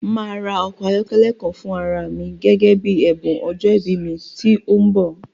Màá ra ọkọ̀ ayọ́kẹ́lẹ́ kan fún ara à mi gẹ́gẹ́ bí ẹ̀bùn ọjọ́ ìbí mi tí ó ń bọ̀